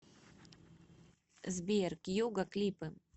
сбер кьюго клипы